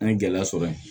An ye gɛlɛya sɔrɔ yen